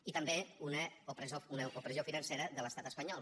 i també una opressió financera de l’estat espanyol